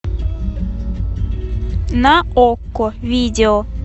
на окко видео